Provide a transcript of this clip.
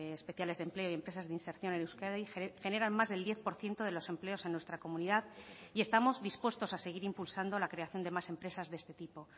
especiales de empleo y empresas de inserción en euskadi generan más del diez por ciento de los empleos en nuestra comunidad y estamos dispuestos a seguir impulsando la creación de más empresas de este tipo